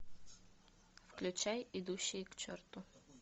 включай идущие к черту